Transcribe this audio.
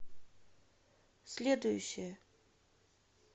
следующая